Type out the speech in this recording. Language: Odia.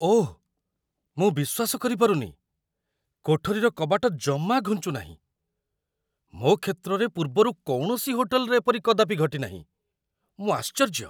ଓଃ, ମୁଁ ବିଶ୍ୱାସ କରିପାରୁନି, କୋଠରୀର କବାଟ ଜମା ଘୁଞ୍ଚୁନାହିଁ! ମୋ କ୍ଷେତ୍ରରେ ପୂର୍ବରୁ କୌଣସି ହୋଟେଲ୍‌‌ରେ ଏପରି କଦାପି ଘଟିନାହିଁ। ମୁଁ ଆଶ୍ଚର୍ଯ୍ୟ!